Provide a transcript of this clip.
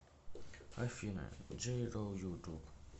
афина джей ро ютуб